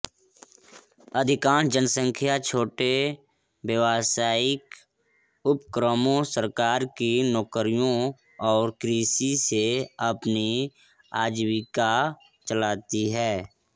अधिकांश जनसंख्या छोटे व्यावसायिक उपक्रमों सरकार की नौकरियों और कृषि से अपनी आजीविका चलाती है